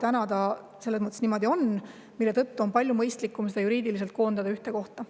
Täna see niimoodi on, aga palju mõistlikum on see juriidiliselt koondada ühte kohta.